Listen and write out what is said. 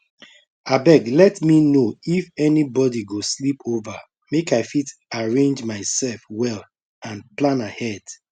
abeg let me know if anybody go sleep over make i fit arrange myself well and plan ahead